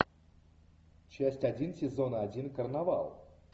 часть один сезона один карнавал